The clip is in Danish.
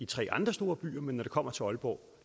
tre andre store byer men når det kommer til aalborg